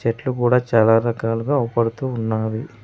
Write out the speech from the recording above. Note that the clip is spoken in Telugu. చెట్లు కూడా చాలా రకాలుగా అవపడుతూ ఉన్నావి.